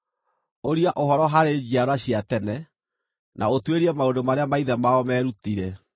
“Ũria ũhoro harĩ njiarwa cia tene, na ũtuĩrie maũndũ marĩa maithe mao meerutire,